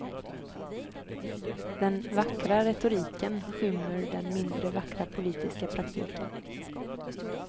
Den vackra retoriken skymmer den mindre vackra politiska praktiken.